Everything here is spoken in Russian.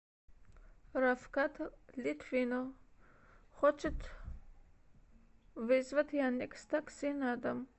рафкат литвинов хочет вызвать яндекс такси на дом